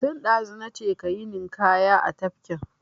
Tun ɗazu na ce ka yi ninƙaya a tafkin!